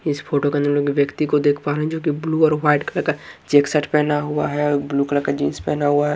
इस फोटो के अंदर व्यक्ति को देख पा रहे हैं जोकि ब्लू और वाइट कलर का चेक्स शर्ट पहना हुआ है ब्लू कलर का जीन्स पहना हुआ है।